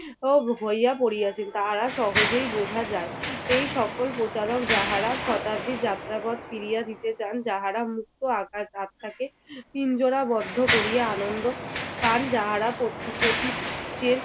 হইয়া পড়িয়াছেন তাহা সহজেই বোঝ যায় এই সকল প্রচারক যাহারা শতাব্দীর যাত্রাপথ ফিরিয়ে দিতে চান যাহারা মুক্ত আকাশ ভাবটাকে পিঞ্জরাবদ্ধ করিয়া আনন্দ পান, যাহারা